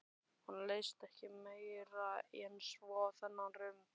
Honum leist ekki meira en svo á þennan rum.